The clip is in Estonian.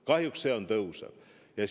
Kahjuks see tõuseb!